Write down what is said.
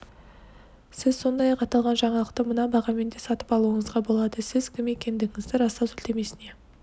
сіз сондай-ақ аталған жаңалықты мына бағамен де сатып алуыңызға болады сіз кім екендігіңізді растау сілтемесіне